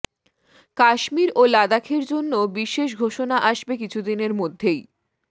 কাশ্মীর ও লাদাখের জন্য বিশেষ ঘোষণা আসবে কিছুদিনের মধ্যেই